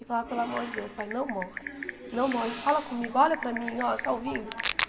E falava, pelo amor de Deus, pai, não morre, não morre, fala comigo, olha para mim, ó, você está ouvindo?